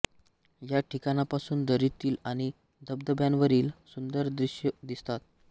या ठिकाणापासून दरीतील आणि धबधब्यांवरील सुंदर दृश्ये दिसतात